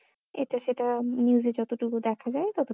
এটা সেটা news এ যতটুকু দেখা যাই তত